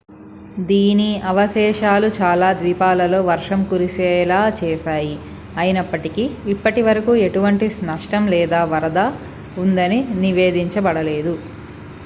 దీని అవశేషాలు చాలా ద్వీపాలలో వర్షం కురిసేలా చేశాయి అయినప్పటికీ ఇప్పటివరకు ఎటువంటి నష్టం లేదా వరద ఉందని నివేదించబడలేదు